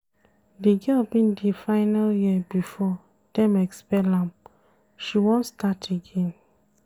Di girl bin dey final year before dem expel am, she wan start again.